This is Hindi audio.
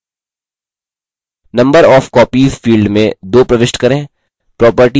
number of copies field में 2 प्रविष्ट करें